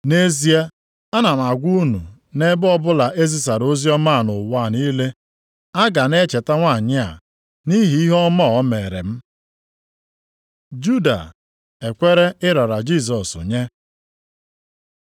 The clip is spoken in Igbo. Nʼezie, ana m agwa unu, nʼebe ọbụla ezisara oziọma a nʼụwa niile, a ga na-echeta nwanyị a nʼihi ihe ọma a o meere m.” Juda ekwere ịrara Jisọs nye